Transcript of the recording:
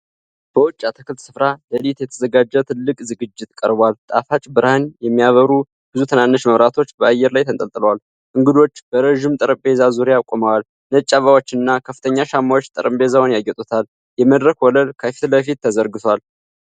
በውጭ አትክልት ስፍራ ለሊት የተዘጋጀ ትልቅ ዝግጅት ቀርቧል። ጣፋጭ ብርሃን የሚያበሩ ብዙ ትናንሽ መብራቶች በአየር ላይ ተንጠልጥለዋል። እንግዶች በረዥም ጠረጴዛ ዙሪያ ቆመዋል። ነጭ አበባዎችና ከፍተኛ ሻማዎች ጠረጴዛውን ያጌጡታል፤ የመድረክ ወለል ከፊት ለፊት ተዘርግቷል።